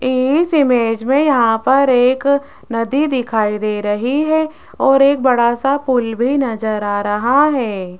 इस इमेज में यहां पर एक नदी दिखाई दे रही है और एक बड़ा सा पुल भी नजर आ रहा है।